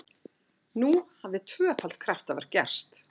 Nú hafði tvöfalt kraftaverk gerst!